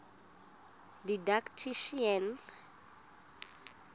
didactician